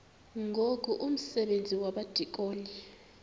ngoku umsebenzi wabadikoni